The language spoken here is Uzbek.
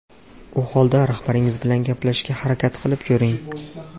U holda rahbaringiz bilan gaplashishga harakat qilib ko‘ring.